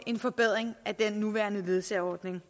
en forbedring af den nuværende ledsageordning